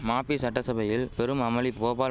மபி சட்டசபையில் பெரும் அமளி போபால்